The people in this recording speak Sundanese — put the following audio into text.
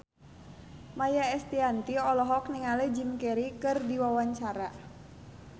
Maia Estianty olohok ningali Jim Carey keur diwawancara